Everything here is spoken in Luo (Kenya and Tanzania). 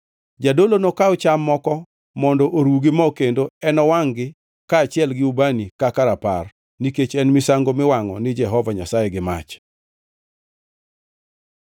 Jadolo nokaw cham moko mondo oru gi mo kendo enowangʼ-gi kaachiel gi ubani kaka rapar, nikech en misango miwangʼo ni Jehova Nyasaye gi mach.